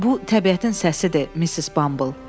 Bu təbiətin səsidir, Missis Bumble.